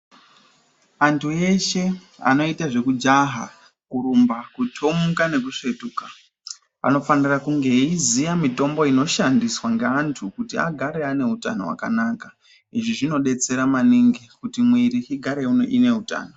Anthu eshe anoite zvekujaha, kurumba, kuthomuka nekusvetuka, vanofanira kunga veiziya mitombo inoshandiswa ngeanthu kuti agare ane utano hwakanaka. Izvi zvinodetsera maningi kuti mwiri igare ine utano.